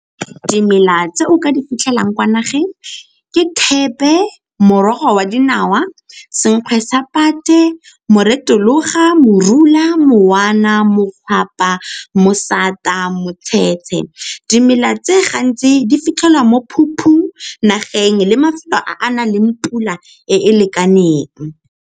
Dimela tse o ka di fitlhelang kwa nageng ke thepe, morogo wa dinawa, senkgwe sa pate, , morula, mosata, motshetshe. Dimela tse gantsi di fitlhelwa mo nageng le mafelo a a nang le pula e e lekaneng.